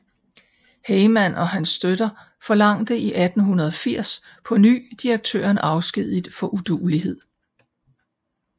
Heyman og hans støtter forlangte i 1880 på ny direktøren afskediget for uduelighed